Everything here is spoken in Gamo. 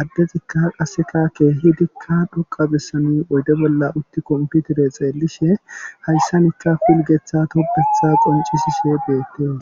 Addezikka qasse keehidikka xoqa bessan oydde bolla uttikko kompitire xeelishe hayssan ikka pilgeththa tophetha qonccisishe beetees.